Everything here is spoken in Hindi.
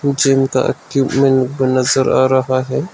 जिम का इक्विपमेंट नजर आ रहा है।